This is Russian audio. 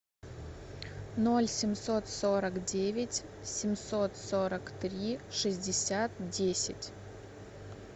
ноль семьсот сорок девять семьсот сорок три шестьдесят десять